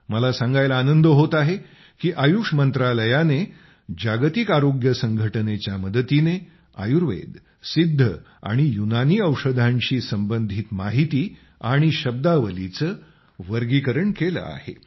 मला सांगायला आनंद होत आहे की आयुष मंत्रालयाने जागतिक आरोग्य संघटनेच्या मदतीने आयुर्वेद सिद्ध आणि युनानी औषधांशी संबंधित माहिती आणि शब्दावलीचे वर्गीकरण केले आहे